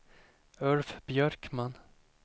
Ulf Björkman